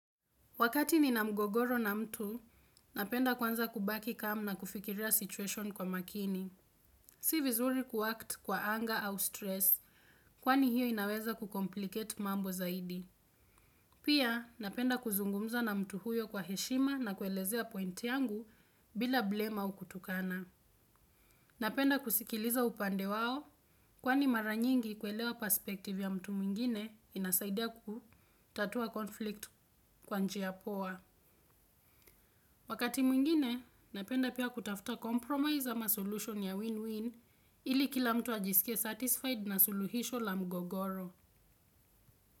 Wakati nina mgogoro na mtu, napenda kwanza kubaki calm na kufikiria situation kwa makini. Si vizuri kuact kwa anger au stress kwani hiyo inaweza kucomplicate mambo zaidi. Pia, napenda kuzungumza na mtu huyo kwa heshima na kuelezea point yangu bila blame au kutukana. Napenda kusikiliza upande wao, kwani maranyingi kuelewa perspektivi ya mtu mwingine inasaidia kutatua konflikt kwa njia ya poa. Wakati mwingine, napenda pia kutafta compromise ama solution ya win-win ili kila mtu ajisike satisfied na suluhisho la mgogoro.